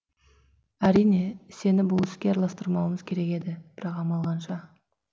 әрине сені бұл іске араластырмауымыз керек еді бірақ амал қанша